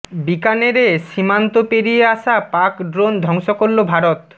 বিকানেরে সীমান্ত পেরিয়ে আসা পাক ড্রোন ধ্বংস করল ভারত